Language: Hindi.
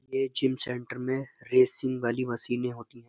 ये जिम सेंटर में रेसिंग वाली मशीनें होती हैं।